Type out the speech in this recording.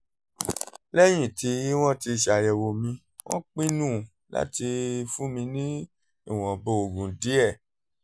lẹ́yìn tí wọ́n ti ṣàyẹ̀wò mi wọ́n pinnu láti fún mi ní ìwọ̀nba oògùn díẹ̀díẹ̀